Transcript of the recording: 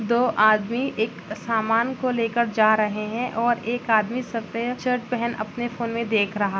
दो आदमी एक सामान को ले कर जा रहे है और एक आदमी सफेद शर्ट पहन अपने फ़ोन में देख रहा--